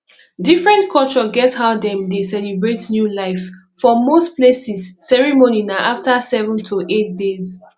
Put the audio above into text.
different culture get how dem dey celebrate new life for most places ceremony na after 7 to 8 days